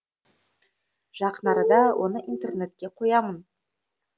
жақын арада оны интернетке қоямын